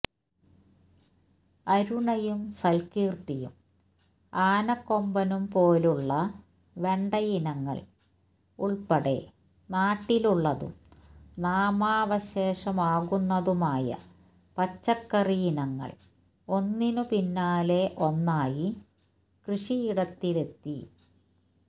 അരുണയും സൽകീർത്തിയും ആനക്കൊമ്പനും പോലുള്ള വെണ്ടയിനങ്ങൾ ഉൾപ്പെടെ നാട്ടിലുള്ളതും നാമാവശേഷമാകുന്നതുമായ പച്ചക്കറിയിനങ്ങൾ ഒന്നിനു പിന്നാലെ ഒന്നായി കൃഷിയിടത്തിലെത്തി